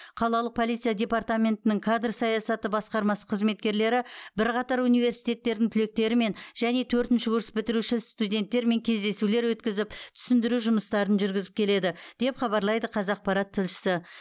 қалалық полиция департаментінің кадр саясаты басқармасы қызметкерлері бірқатар университеттердің түлектерімен және төртінші курс бітіруші студенттермен кездесулер өткізіп түсіндіру жұмыстарын жүргізіп келеді деп хабарлайды қазақпарат тілшісі